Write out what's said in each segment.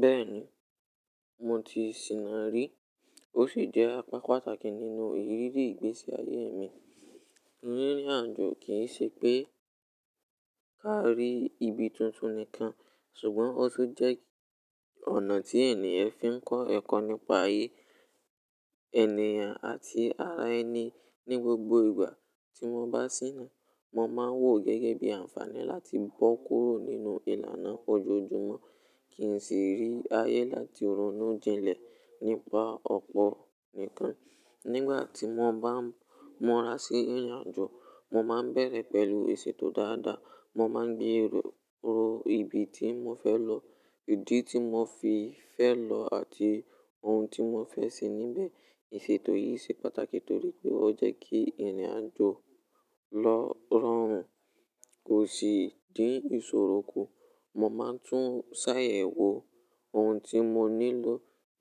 Bẹ́ẹ̀ni, mo ti sìná rí, ó sì jẹ́ apá pàtàkì nínú ìrírí ìgbésí ayé mi. Rírin àjò kì í ṣe pé ká rí ibi tuntun nìkan, ṣùgbọ́n ó tún jẹ́ ọ̀nà tí ènìyàn fi ń kọ́ ẹ̀kọ́ nípa ayé ènìyàn àti ara ẹni ní gbogbo ìgbà. Tí mo bá sìná, mo máa ń wò ó gẹ́gẹ́ bí àǹfààní láti bọ́ kúrò nínú ìlànà ojoojúmọ́, kì í sìí rí ayé láti ronú jinlẹ̀ nípa ọ̀pọ̀ nikan. Nígbà tí mo bá ń mura sí ìrìnàjò, mo máa ń bẹ̀rẹ̀ pẹ̀lú isètò dáadáa. Mo máa ń gbé ero ibi tí mo fẹ́ lọ, ìdí tí mo fi fẹ́ lọ àti ohun tí mo fẹ́ ṣe níbẹ̀. Isètò yìí ṣe pàtàkì torí pé ó jẹ́ kí ìrìn àjò lilọ́ rọrùn o sì dín ìṣòro kù. Mo máa ń tún ṣàyẹ̀wò ohun tí mo nílò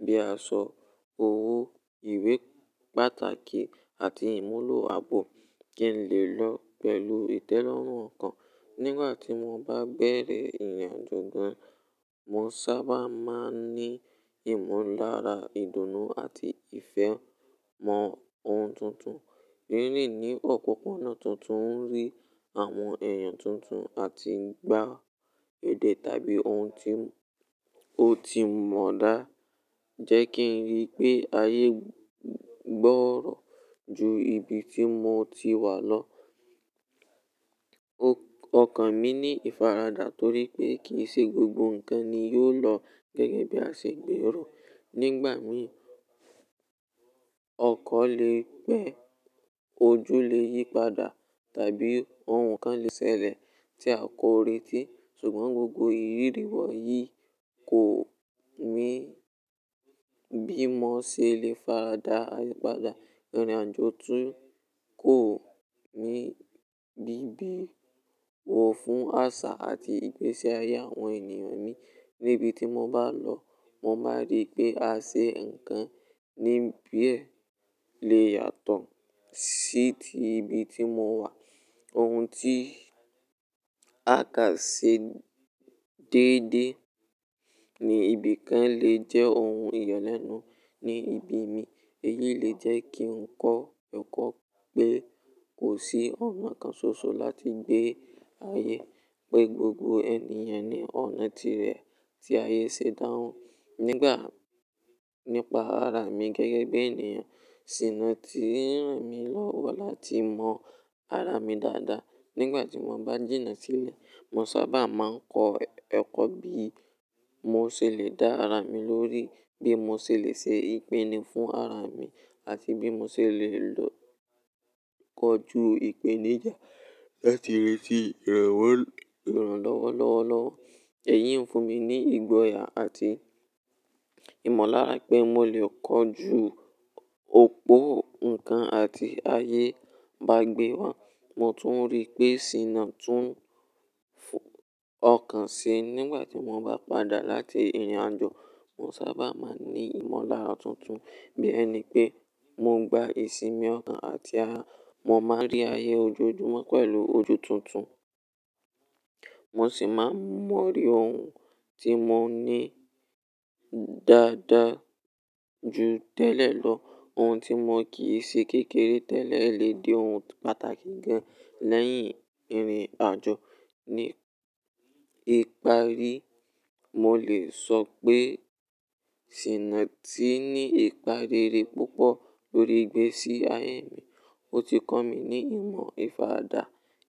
bíi aṣọ, owó, ìwé pàtàkì àti ìmúlò ààbò kí n lè lọ pẹ̀lú ìtẹ́lọ́rùn ọkàn. Nígbà tí mo bá bẹ̀rẹ̀ ìrìnàjò gan, mo sábà máa ń ní ìmọ̀lára ìdùnnú àti ìfẹ́ mọ ohun tuntun. Rírin ní opoponà tuntun, rirí àwọn èèyàn tuntun àti gbigbo èdè tàbí ohun tí ó ti mọ̀ dáadaa jẹ́ kí n rí pé ayé gbọ́rọ̀ ju ibi tí mo ti wà lọ. Okàn mi ní ìfaradà torí pé kì í ṣe gbogbo nǹkan ni yóò lọ gẹ́gẹ́ bí a ṣe gbèrò. Nígbà mìí, ọkọ̀ lè gbẹ́, ojú ojo lè yí padà, tàbí ohun kan lè ṣẹlẹ̀ tí a kò retí. Ṣùgbọ́n gbogbo ìrírí wọ̀nyí kò mi bímọ ṣe lè faradà ayipadà. Ìrìnàjò tún kò mi ni bibowo fún àṣà àti ìgbésí ayé àwọn ènìyàn mii. Níbi tí mo bá lọ, mo máa rí pé àsè nǹkan níbe lè yàtọ̀ sí ti ibi tí mo wà. Ohun tí a kà ṣi déédéé ní ibì kan lè jẹ́ ohun ìyaẹ́nu ní ibo mi. Èyí lè jẹ́ kí n kọ́ ẹ̀kọ́ pé kò sí ọ̀nà kan ṣoṣo láti gbé ayé, pé gbogbo ènìyàn ní ọ̀nà tirẹ̀ tí ayé ṣe dáhùn. Nipa ara mi gẹ́gẹ́ bí ènìyàn, sì ti ran mí lọ́wọ́ láti mọ ara mi dáadáa. Nígbà tí mo bá jìnnà sílẹ̀, mo sábà máa ń kọ́ ẹ̀kọ́ bí mo ṣe lè dá ara mi lórí, bí mo ṣe lè ṣe ìpinnu fún ara mi àti bí mo ṣe lè lọ́. Kọjú ìpèníjà láti reti ìrànlọ́wọ́ lọ́wọ́lọ́wọ́. Èyí ń fún mi ní ìgboyà àti ìmọ̀lára pé mo lè kọjú òpó nǹkan ti ayé bá gbé wá. Mo tún rí pé sìná tún fún ọkàn ṣi. Nígbà tí mo bá padà láti ìrìnàjò, mo sábà máa ń ní ìmọ̀lára tuntun. Bí ẹni pé mo gba ìsinmi ọ̀kan àti ara, mo máa ń rí ayé ojoojúmọ́ pẹ̀lú ojú tuntun, mo sì máa ń mọ̀ríri ohun tí mo ní dáadáa ju tẹ́lẹ̀ lọ. Ohun tí mo kì í ṣe kékeré tẹ́lẹ̀ lè di ohun pàtàkì gan lẹ́yìn ìrìnàjò. Ní ìparí, mo lè sọ pé sìná ti ní ìpa rere púpọ̀ lórí ìgbésí ayé mi. Ó ti kọ́ mi ní ìmọ̀ ìfaradà,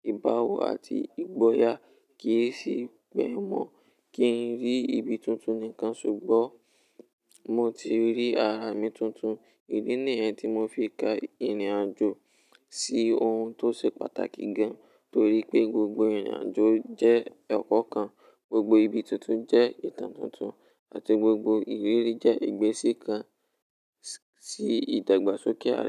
ìbáwo àti ìgboyà. Kì í sì bẹ̀ wọ́n kí n rí ibi tuntun nìkan, ṣùgbọ́n mo ti rí ara mi tuntun. Idi nìyẹn tí mo fi ka ìrìnàjò sí ohun tó ṣe pàtàkì gan, torí pé gbogbo ìrìnàjò jẹ́ ẹ̀kọ́ kan, gbogbo ibi tuntun jẹ́ ìtàn tuntun àti gbogbo ìrírí jẹ́ ìgbése kan sí ìdàgbàsókè ara ènìyàn.